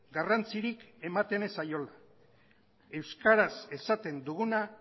garrantzirik ematen ez zaiola euskaraz esaten duguna